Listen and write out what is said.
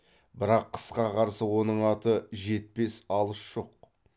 бірақ қысқа қарсы оның аты жетпес алыс жоқ